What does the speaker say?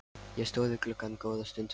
Ég stóð við gluggann góða stund.